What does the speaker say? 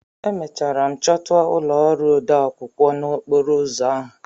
Emechara m chọta ụlọ ọrụ odeakwụkwọ n'okporo ụzọ ahụ.